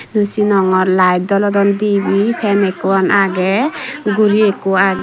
naw sinogor light jolodon dibe pan ekkan agey guri ekko